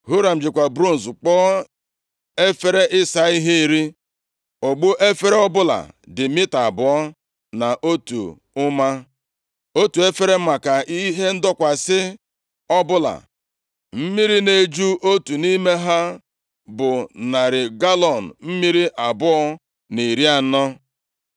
Huram jikwa bronz kpụọ efere ịsa ihe iri. Ogbu efere ọbụla dị mita abụọ na otu ụma, otu efere maka ihe ndọkwasị ọbụla. Mmiri na-eju otu nʼime ha bụ narị galọọnụ mmiri abụọ na iri anọ. + 7:38 Maọbụ, ihe ruru narị lita asatọ na iri asatọ